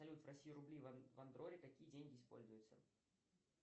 салют в россии рубли в андорре какие деньги используются